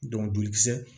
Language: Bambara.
jolikisɛ